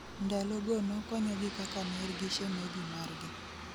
Ndalo go nokonyogi kaka ner gi shemeji margi